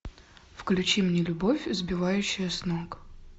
включи мне любовь сбивающая с ног